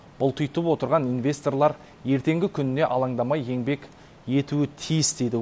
бұлтитып отырған инвесторлар ертеңгі күніне алаңдамай еңбек етуі тиіс дейді